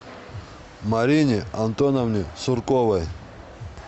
марине антоновне сурковой